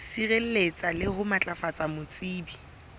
sireletsa le ho matlafatsa botsebi